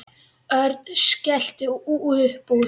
Örn skellti upp úr.